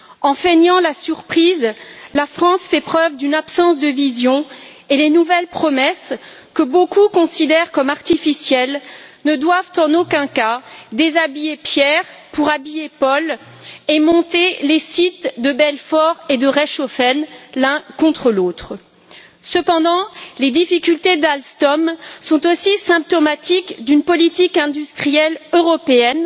En feignant la surprise, la France fait preuve d'une absence de vision, et les nouvelles promesses, que beaucoup considèrent comme artificielles, ne doivent en aucun cas déshabiller Pierre pour habiller Paul et monter les sites de Belfort et de Reichshoffen l'un contre l'autre. Cependant, les difficultés d'Alstom sont aussi symptomatiques d'une politique industrielle européenne